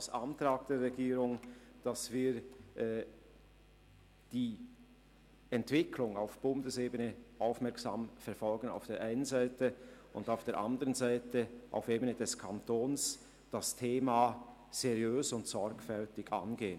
Wir werden auf der einen Seite die Entwicklung auf Bundesebene aufmerksam verfolgen und auf der anderen Seite, auf Ebene des Kantons, das Thema seriös und sorgfältig angehen.